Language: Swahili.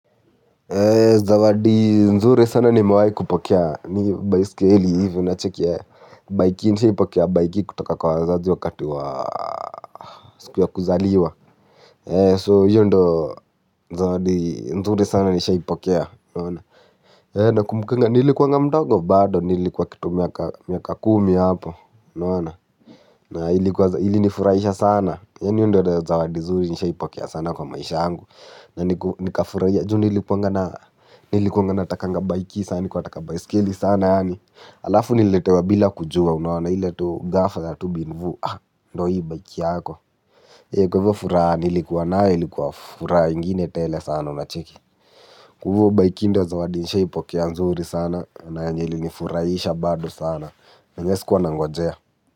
Zawadi nzuri sana nimewai kupokea ni baisikeli hivyo unacheki eeh baiki nishaipokea baiki kutoka kwa wazazi wakati wa siku ya kuzaliwa. So hiyo ndio zawadi nzuri sana nishaipokea. Nakumbukanga nilikuwanga mdogo bado nilikuwa kitu miaka kumi hapo. Unaona na ilinifurahisha sana yaani hiyo ndio zawadi nzuri nishaipokea sana kwa maisha yangu. Na nikafurahia juu nilikuwanga na nilikuwanga natakanga baiki sana nikuwa nataka baiskeli sana yaani alafu nililetewa bila kujua unaona ile tu ghafla za tu bin vuu ndio hii bike yako. Kwa hivyo furaha nilikuwa nayo ilikuwa furaha ingine tele sana unacheki. Kwa hivyo baiki ndio zawadi nishaipokea nzuri sana na yenye ilinifurahisha bado sana enyewe si kuwa nangojea.